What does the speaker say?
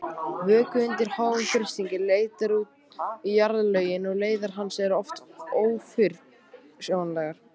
Vökvi undir háum þrýstingi leitar út í jarðlögin og leiðir hans eru oft ófyrirsjáanlegar.